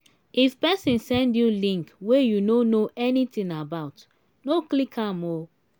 if pesin send you link wey you no know anything about no click am oo.